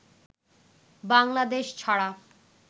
বাংলাদেশ ছাড়া